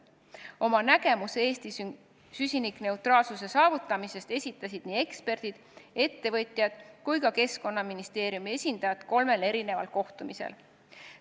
Oma nägemuse Eesti süsinikuneutraalsuse saavutamisest esitasid eksperdid, ettevõtjad ja ka Keskkonnaministeeriumi esindajad kolmel kohtumisel.